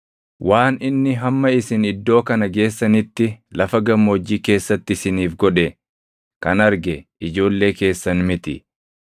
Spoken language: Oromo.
Waan inni hamma isin iddoo kana geessanitti lafa gammoojjii keessatti isiniif godhe kan arge ijoollee keessan miti;